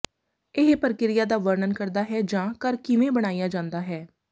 ਇਹ ਪ੍ਰਕਿਰਿਆ ਦਾ ਵਰਣਨ ਕਰਦਾ ਹੈ ਜਾਂ ਘਰ ਕਿਵੇਂ ਬਣਾਇਆ ਜਾਂਦਾ ਹੈ